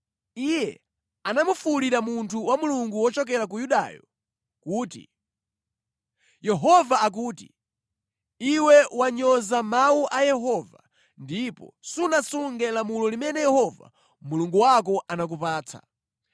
Iye anafuwulira munthu wa Mulungu wochokera ku Yudayo kuti, “Yehova akuti, ‘Iwe wanyoza mawu a Yehova ndipo sunasunge lamulo limene Yehova Mulungu wako anakupatsa.